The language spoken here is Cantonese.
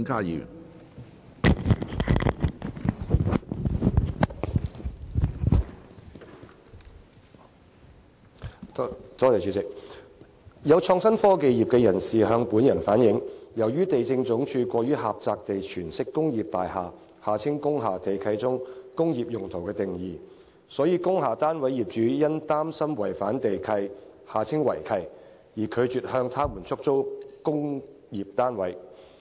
有創新科技業人士向本人反映，由於地政總署過於狹窄地詮釋工業大廈地契中"工業用途"的定義，所以工廈單位業主因擔心違反地契而拒絕向他們出租工廈單位。